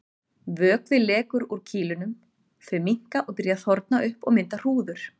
Vökvi lekur úr kýlunum, þau minnka og byrja að þorna upp og mynda hrúður.